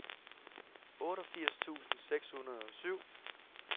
otteogfirs tusind seks hundrede og syv